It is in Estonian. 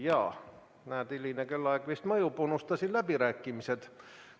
Ja näed, hiline kellaaeg vist mõjub, unustasin läbirääkimised.